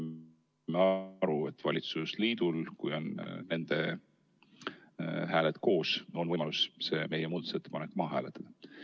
Ma saan aru, et valitsusliidul, kui neil on hääled koos, on võimalus meie muudatusettepanek maha hääletada.